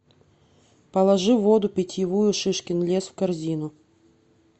положи воду питьевую шишкин лес в корзину